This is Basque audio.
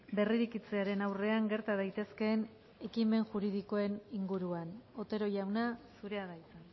berrirekitzearen aurrean gerta daitezkeen ekimen juridikoen inguruan otero jauna zurea da hitza